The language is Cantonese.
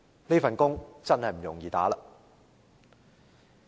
這份工作真的不容易做。